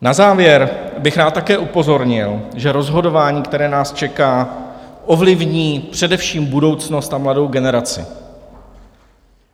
Na závěr bych rád také upozornil, že rozhodování, které nás čeká, ovlivní především budoucnost a mladou generaci.